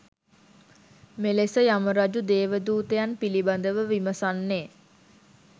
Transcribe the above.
මෙලෙස යමරජු දේවදූතයන් පිළිබඳව විමසන්නේ